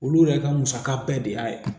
Olu yɛrɛ ka musaka bɛɛ de y'a ye